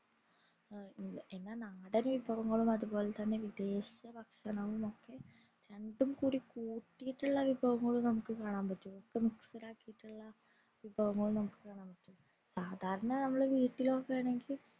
എന്ന നടൻ വിഭവങ്ങളും അത് പോലെ തെന്നെ വിദേശ ഭക്ഷണങ്ങളോക്കെ രണ്ടും കൂടി കൂട്ടീട്ടുള്ള വിഭവങ്ങളും നമുക് കാണാൻ പറ്റും ഒപ്പം mixed ആയിട്ടുള വിഭവങ്ങളും നമുക് കാണാൻ മറ്റും